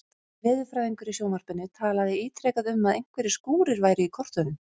Veðurfræðingur í sjónvarpinu talaði ítrekað um að einhverjir skúrir væru í kortunum.